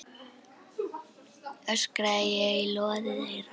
öskraði ég í loðið eyra.